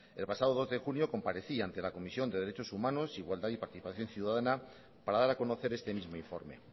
el pasado dos de julio comparecí ante la comisión de derechos humanos igualdad y participación ciudadana para dar a conocer este mismo informe